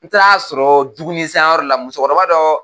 N taara sɔrɔ juguni san yɔrɔ de la muso kɔrɔba dɔ